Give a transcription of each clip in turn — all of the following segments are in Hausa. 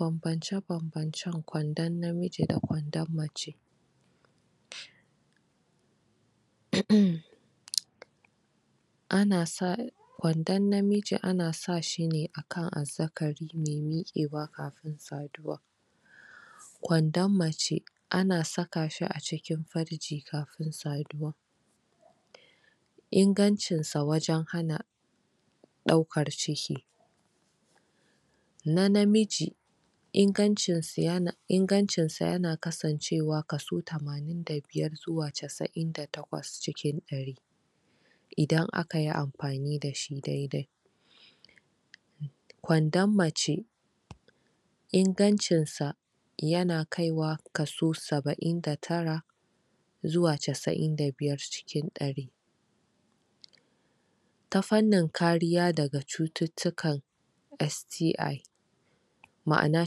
Bambance-bambancen kwandon namiji da kwandon mace. uhm uhmm Ana sa kwandon namiji ana sa shi ne kan azzakari mai miƙewa kafin saduwa. Kwandon macce ana saka shi a cikin farji kafin saduwa. Ingancin sa wajen hana ɗaukar ciki; Na namiji ingancin sa ya na ingancin sa ya na kasancewa kaso tamanin da biyu har zuwa casa'in da takwas cikin ɗari, idan aka yi amfani dashi dai-dai. Kwandon mace ingancin sa ya na kaiwa kaso saba'in da tara zuwa casa'in da biyar cikin ɗari. Ta fannin kariya daga cututtuka, STI ma'ana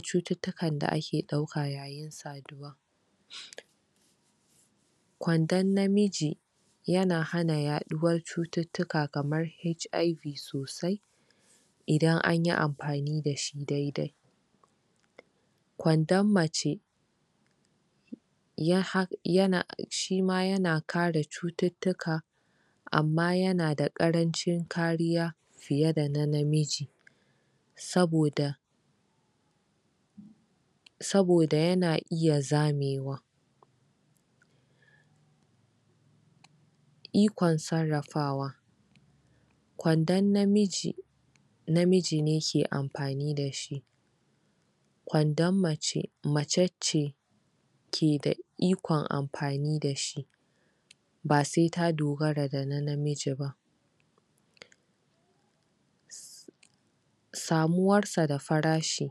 cututtukan da ake ɗauka. Kwandon namiji ya na hana yaɗuwar cututtuka kamar; HIV sosai idan anyi amfani da shi dai-dai. Kwondon mace ya ha ya na, shi ma ya na kare cututtuka. Amma ya na da ƙarancin kariya fiye da na namiji. Saboda saboda ya na iya zamewa. Iokn sararrafawa kwandon namiji, namiji ne ke amfani da shi. Kwondon mace, mace ce ke da iokn amfani da shi, ba sai ta dogara da namiji ba. Samuwar sa da farashi;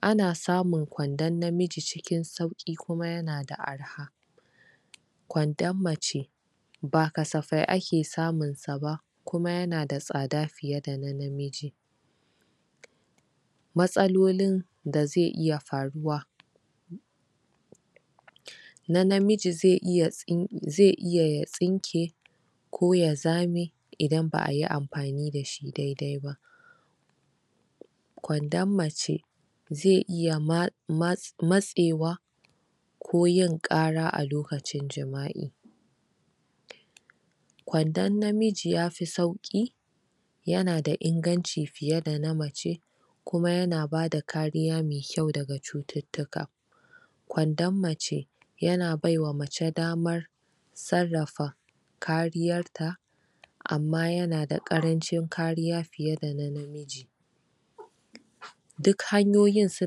Ana samun kwandon namiji cikin sauƙi kuma ya na da arha. Kwondon mace, ba kasafai ake samun sa ba, kuma ya na da tsada fiye da na namiji. Matsalolin da zai iya faruwa; Na namiji zai iya ya tsin, zai iya ya tsinke ko ya zame idan ba'a yi amfani da shi dai-dai ba. Kwondon mace, zai iya ma ma matsewa, ko yin ƙara a lokacin jima'i. Kwondon namiji yafi sauƙi, ya na da inganci fiye da na mace, kuma ya na ba da kariya mai kyau daga cututtuka. Kwondon mace, ya na baiwa mace damar sarrafa kariyar ta amma ya na da ƙarancin kariya fiye da na namiji. Duk hanyoyin su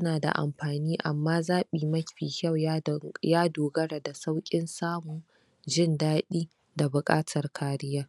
na da amfani, amma zaɓi mafi kyau ya do, ya dogara da sauƙin samu, jin daɗi da buƙatar kariya.